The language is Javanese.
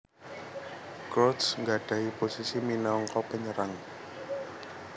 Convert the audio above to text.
Crouch nggadhahi posisi minangka penyerang